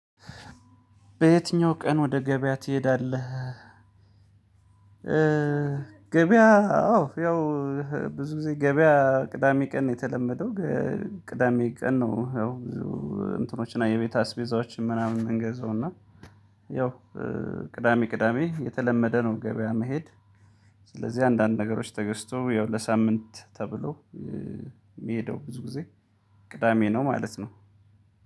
በየትኛው ቀን ወደ ገበያ ትሄዳለህ? ገበያ አዎ ያው ብዙ ጊዜ ገበያ ቅዳሜ ቀን የተለመደው ቅዳሜ ቀን ነው። ያው ብዙ እንትኖችና የቤት አስቤዛዎችን ምናምን የምንገዛው እና ያው ቅዳሜ ቅዳሜ የተለመደ ነው ገበያ መሄድ። ስለዚህ አንዳንድ ነገሮች ተገዝቶ ያው ለሳምንት ተብሎ ሚሄደው ብዙ ጊዜ ቅዳሜ ነው ማለት ነው።